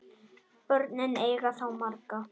Börnin eiga þá marga